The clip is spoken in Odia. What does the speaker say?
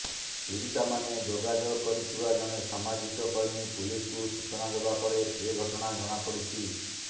ପୀଡ଼ିତାମାନେ ଯୋଗାଯୋଗ କରିଥିବା ଜଣେ ସାମାଜିକ କର୍ମୀ ପୁଲିସକୁ ସୂଚନା ଦେବା ପରେ ଏ ଘଟଣା ଜଣାପଡ଼ିଛି